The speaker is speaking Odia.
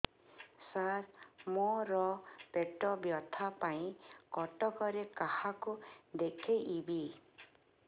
ସାର ମୋ ର ପେଟ ବ୍ୟଥା ପାଇଁ କଟକରେ କାହାକୁ ଦେଖେଇବି